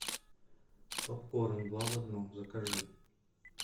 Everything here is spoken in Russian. попкорн два в одном закажи